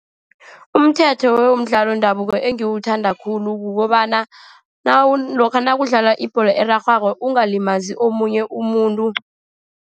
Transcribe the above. Umthetho womdlalo wendabuko engiwuthanda khulu kukobana lokha nakudlalwa ibholo erarhwako, ungalimazi omunye umuntu.